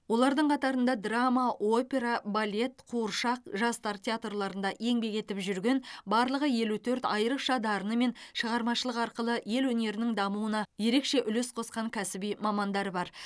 олардың қатарында драма опера балет қуыршақ жастар театрларында еңбек етіп жүрген барлығы елу төрт айрықша дарыны мен шығармашылығы арқылы ел өнерінің дамуына ерекше үлес қосқан кәсіби мамандар бар